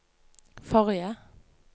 forrige